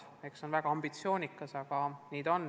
See on väga ambitsioonikas soov.